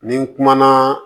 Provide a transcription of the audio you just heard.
Ni n kumana